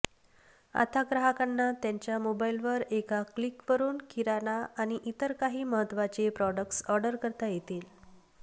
आता ग्राहकांना त्यांच्या मोबाइलवर एका क्लिकवरून किराणा आणि इतर काही महत्त्वाते प्रोडक्ट्स ऑर्डर करता येतील